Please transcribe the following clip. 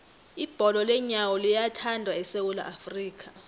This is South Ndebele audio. ibholo leenyawo liyathandwa esewula afrika